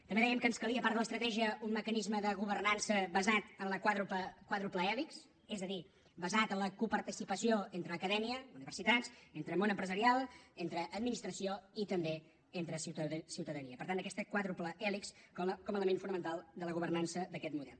també dèiem que ens calia a part de l’estratègia un mecanisme de governança basat en la quàdruple hèlix és a dir basat en la coparticipació entre acadèmia universitats entre món empresarial entre administració i també entre ciutadania per tant aquesta quàdruple hèlix com a element fonamental de la governança d’aquest model